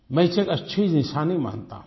मैं इसे एक अच्छी निशानी मानता हूँ